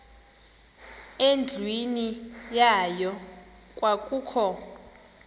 endlwini yayo kwakukho